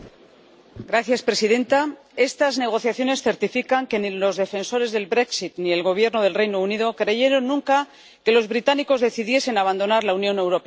Señora presidenta, estas negociaciones certifican que ni los defensores del ni el Gobierno del Reino Unido creyeron nunca que los británicos decidiesen abandonar la Unión Europea.